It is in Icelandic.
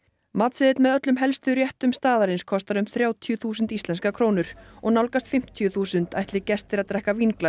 matseðill með öllum helstu réttum staðarins kostar um þrjátíu þúsund íslenskar krónur og nálgast fimmtíu þúsund ætli gestir að drekka